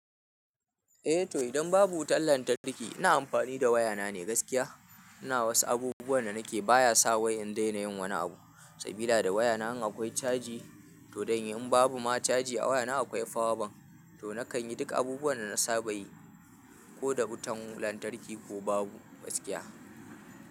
Eh to idan babu wutan lantarki ina amfani da wayana ne gaskiya. Ina wasu abubuwan da nake baya sa wayan daina yin wani abu. Sabida da wayana in akwai caji to dan in babu ma caji a wayana akwai fawa ban. To nakan yi duk abubuwan da na saba yi ko da wutan lantarki ko babu gaskiya.